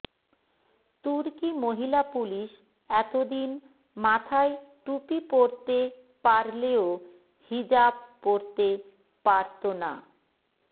তুর্কি মহিলা পুলিশ এতদিন মাথায় টুপি পরতে পারলেও হিজাব পরতে পারত না